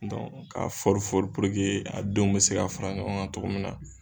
fɔrifɔri puruke a denw bɛ se ka fara ɲɔgɔn kan cogo min na,